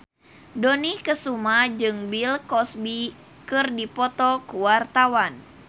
Dony Kesuma jeung Bill Cosby keur dipoto ku wartawan